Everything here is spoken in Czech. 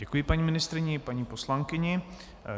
Děkuji paní ministryni i paní poslankyni.